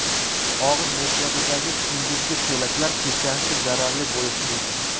Og‘iz bo‘shlig‘idagi kunduzgi so‘laklar kechasi zararli bo‘lishi mumkin.